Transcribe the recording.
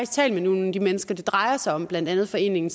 talt med nogle af de mennesker det drejer sig om blandt andet foreningen